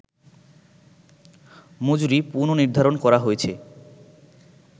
মজুরি পুন:নির্ধারণ করা হয়েছে